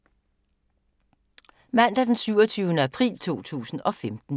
Mandag d. 27. april 2015